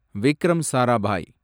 Vikram Sarabhai